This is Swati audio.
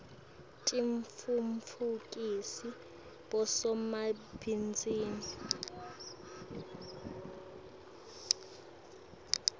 titfutfukisa bosomabhizinisi